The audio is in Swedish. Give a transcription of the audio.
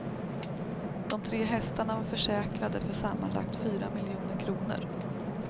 De tre hästarna var försäkrade för sammanlagt fyra miljoner kronor.